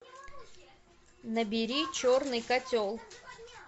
набери черный котел